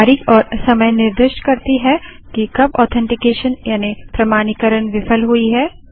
तारीख और समय निर्दिष्ट करती है कि कब ऑथेन्टीकेशन यानि प्रमाणीकरण विफल हुई है